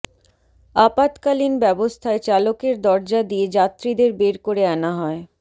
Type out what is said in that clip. আপাতকালীন ব্যবস্থায় চালকের দরজা দিয়ে যাত্রীদের বের করে আনা হয়